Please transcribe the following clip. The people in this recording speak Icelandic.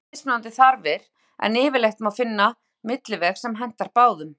Við höfum vissulega mismunandi þarfir en yfirleitt má finna milliveg sem hentar báðum.